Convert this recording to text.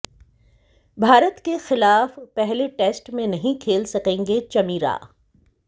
भारत के खिलाफ पहले टेस्ट में नहीं खेल सकेंगे चमीरा